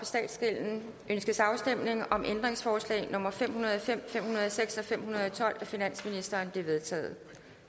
statsgælden ønskes afstemning om ændringsforslag nummer fem hundrede og fem fem hundrede og seks og fem hundrede og tolv af finansministeren de er vedtaget